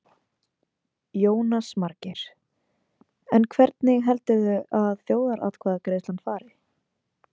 Jónas Margeir: En hvernig heldurðu að þjóðaratkvæðagreiðslan fari?